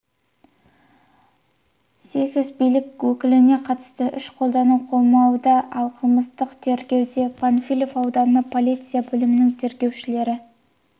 сйкес билік өкіліне қатысты күш қолдану қамауда ал қылмыстық тергеуді панфилов аудандық полиция бөлімінің тергеушілері